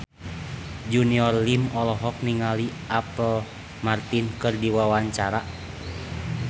Junior Liem olohok ningali Apple Martin keur diwawancara